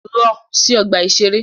Lọ sí ọgbà-ìṣeré!